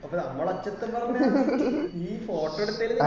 അപ്പൊ നമ്മള് ഒച്ചതില് പറഞ്ഞതാണ് കുറ്റം നീ photo എടുത്തെല്